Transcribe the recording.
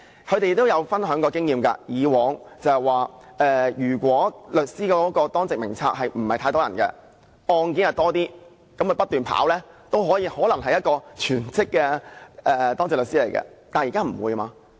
他們曾分享經驗，說以往如果當值律師名冊不太多人，而案件較多，他們不斷接案件也可能是等於擔任全職的當值律師，但現時不會。